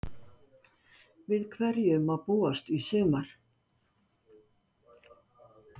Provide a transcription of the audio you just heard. Við hverju má búast í sumar?